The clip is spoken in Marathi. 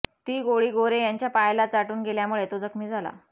ती गोळी गोरे याच्या पायाला चाटून गेल्यामुळे तो जखमी झाला